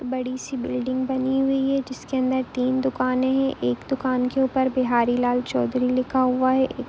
एक बड़ी सी बिल्डिंग बनी हुई है जिसके अंदर तीन दुकाने है एक दुकान के ऊपर बिहारी लाल चौधरी लिखा हुआ है। एक--